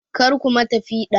Karku ma ta piɗa!